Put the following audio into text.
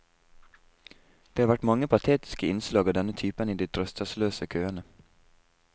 Det har vært mange patetiske innslag av denne typen i de trøstesløse køene.